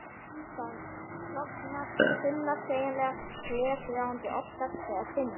Það klofnar í þunnar, sveigjanlegar, glergljáandi, oft gagnsæjar þynnur.